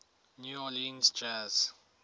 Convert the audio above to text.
new orleans jazz